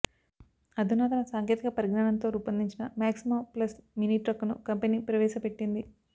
అధునాతన సాంకేతిక పరిజ్ఞానంతో రూపొందించిన మాక్సిమో ప్లస్ మినీ ట్రక్కును కంపెనీ ప్రవేశపెట్టింది